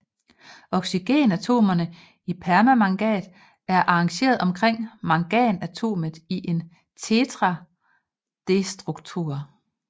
Oxygenatomerne i permanganat er arrangeret omkring manganatomet i en tetraederstruktur